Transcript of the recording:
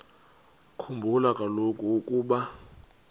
khumbula kaloku ukuba